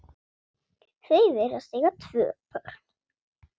Þau virðast eiga tvö börn.